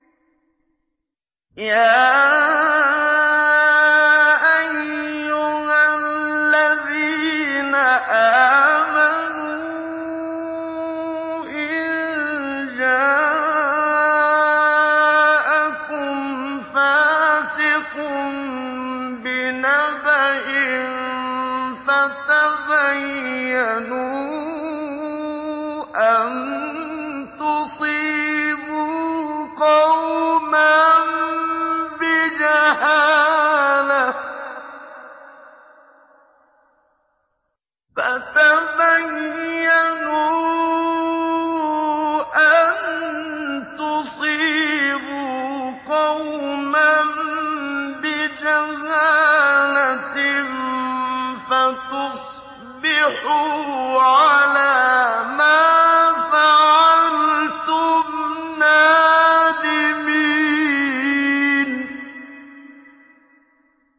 يَا أَيُّهَا الَّذِينَ آمَنُوا إِن جَاءَكُمْ فَاسِقٌ بِنَبَإٍ فَتَبَيَّنُوا أَن تُصِيبُوا قَوْمًا بِجَهَالَةٍ فَتُصْبِحُوا عَلَىٰ مَا فَعَلْتُمْ نَادِمِينَ